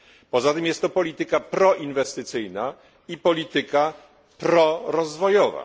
Poza tym jest to polityka proinwestycyjna i polityka prorozwojowa.